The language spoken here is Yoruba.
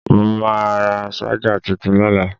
Mo máa ra ṣájà tuntun lọ́la.